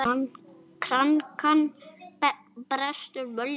Krankan brestur völdin.